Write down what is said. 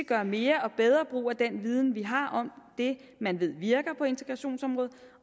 gøre mere og bedre brug af den viden vi har om det man ved virker på integrationsområdet